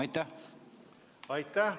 Aitäh!